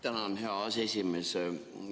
Tänan, hea aseesimees!